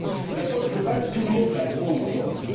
L'approche globale, tout le monde la prône, aujourd'hui.